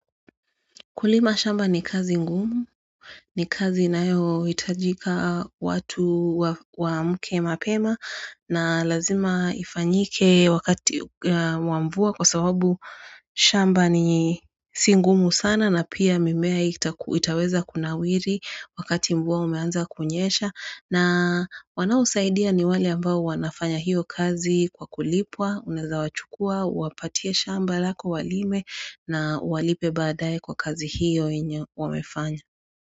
Kulima shamba ni kazi ngumu, ni kazi inayo hitajika watu waamke mapema na lazima ifanyike wakati wa mvua kwa sababu shamba ni si ngumu sana na pia mimea itaweza kunawiri wakati mvua umeanza kunyesha. Na wanaosaidia ni wale ambao wanafanya hiyo kazi kwa kulipwa, unaweza wachukua, uwapatia shamba lako walime na uwalipe badaye kwa kazi hiyo yenye wamefanya.